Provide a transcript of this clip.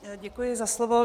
Děkuji za slovo.